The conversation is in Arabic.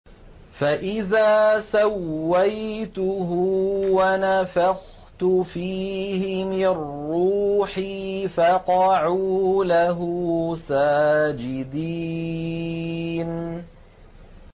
فَإِذَا سَوَّيْتُهُ وَنَفَخْتُ فِيهِ مِن رُّوحِي فَقَعُوا لَهُ سَاجِدِينَ